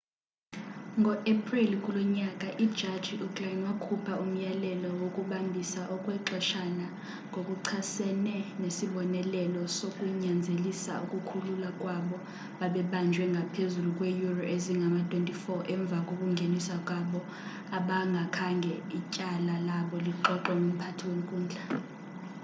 ngo-epreli kulo nyaka ijaji uglynn wakhupha umyalelo wokubambisa okwexeshana ngokuchasene nesibonelelo sokunyanzelisa ukukhululwa kwabo babebanjwe ngaphezulu kweeyure ezingama-24 emva kokungeniswa kwabo abangakhange ityala labo lixoxwe ngumphathi wenkundla